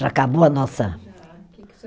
Já acabou a nossa. Já. Que que